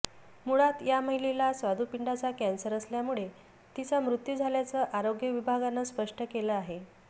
मुळात या महिलेला स्वादू पिंडाचा कॅन्सर असल्यामुळे तिचा मृत्यू झाल्याचं आरोग्य विभागानं स्पष्ट केलं आहे